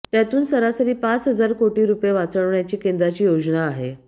त्यातून सरासरी पाच हजार कोटी रुपये वाचवण्याची केंद्राची योजना आहे